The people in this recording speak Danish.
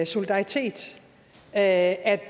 solidaritet at